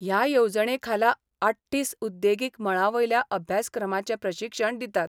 हया येवजणेखाला आठ्ठीस उद्देगीक मळावयल्या अभ्यासक्रमाचे प्रशिक्षण दितात.